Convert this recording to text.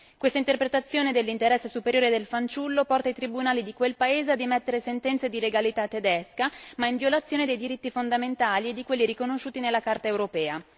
Questa interpretazione dell'interesse superiore del fanciullo porta i tribunali di quel paese ad emettere sentenze di legalità tedesca ma in violazione dei diritti fondamentali e di quelli riconosciuti nella Carta europea.